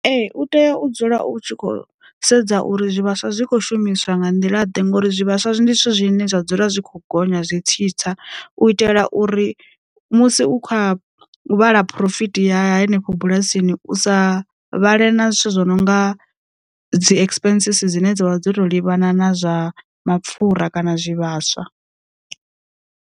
Ee u tea u dzula u tshi khou sedza uri zwi vhaswa zwi kho shumiswa nga nḓila ḓe ngori zwi vhaswa zwi ndi zwithu zwine zwa dzula zwi kho gonya zwi tsitsa, u itela uri musi u khou ya vhala phurofiti ya henefho bulasini u sa vhale na zwithu zwo no nga dzi expensisi dzine dza vha dzo to livhana na zwa mapfura kana zwi vhaswa.